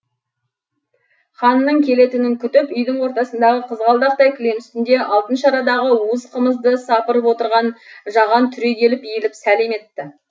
ханның келетінін күтіп үйдің ортасындағы қызғалдақтай кілем үстінде алтын шарадағы уыз қымызды сапырып отырған жаған түрегеліп иіліп сәлем етті